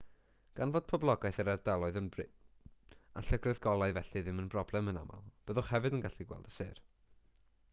gan fod poblogaeth yr ardaloedd yn brin a llygredd golau felly ddim yn broblem yn aml byddwch hefyd yn gallu gweld y sêr